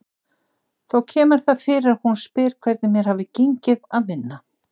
Þó kemur það fyrir að hún spyr hvernig mér hafi gengið að vinna.